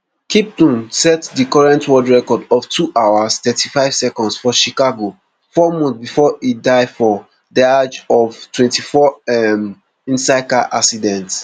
kiptum set dicurrent world record of two hours thirty-five secondsfor chicago four months before e die for diageoftwenty-four um insidecar accident